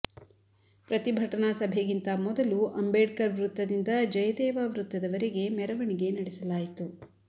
ಪ್ರತಿಭಟನಾ ಸಭೆಗಿಂತ ಮೊದಲು ಅಂಬೇಡ್ಕರ್ ವೃತ್ತದಿಂದ ಜಯದೇವ ವೃತ್ತದವರೆಗೆ ಮೆರವಣಿಗೆ ನಡೆಸಲಾಯಿತು